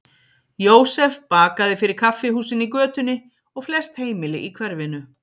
Jósef bakaði fyrir kaffihúsin í götunni og flest heimili í hverfinu.